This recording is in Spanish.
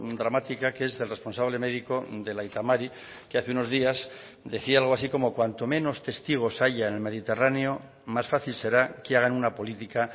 dramática que es del responsable médico del aita mari que hace unos días decía algo así como cuanto menos testigos haya en el mediterráneo más fácil será que hagan una política